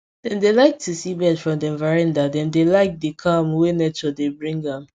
dem dey like to see birds from dem veranda dem dey like the calm wey nature dey bring am